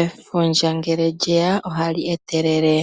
Efundja ngele lye ya, ohali etelele